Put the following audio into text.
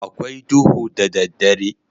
A kwai duhu da daddare.